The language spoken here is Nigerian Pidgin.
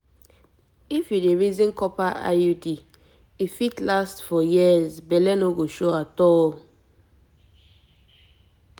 if you dey reason copper iud e fit last for years belle no go show at all